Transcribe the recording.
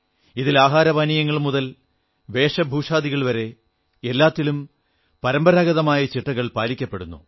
ഇതിൽ ആഹാരപാനീയങ്ങൾ മുതൽ വേഷഭൂഷാദികൾ വരെ എല്ലാത്തിലും പരമ്പരാഗതമായ ചിട്ടകൾ പാലിക്കപ്പെടുന്നു